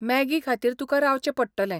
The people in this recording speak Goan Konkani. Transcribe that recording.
मॅगी खातीर तुका रावचें पडटलें.